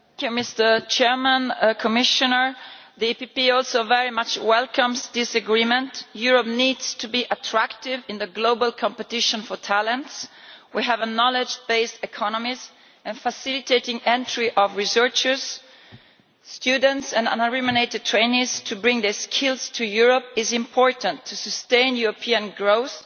Mr President, the PPE Group also very much welcomes this agreement. Europe needs to be attractive in the global competition for talents. We have a knowledge-based economy and facilitating the entry of researchers, students and unremunerated trainees to bring their skills to Europe is important to sustain European growth,